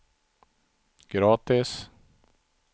gratis